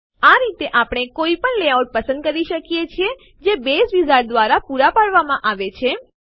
આ રીતે આપણે કોઈપણ લેઆઉટ પસંદ કરી શકીએ છીએ જે બેઝ વિઝાર્ડ દ્વારા પુરા પાડવામાં આવે છે